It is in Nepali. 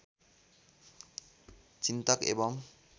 चिन्तक एवम्